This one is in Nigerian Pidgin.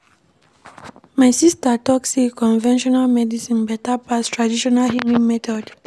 My sista tok sey conventional medicine beta pass traditional healing methods.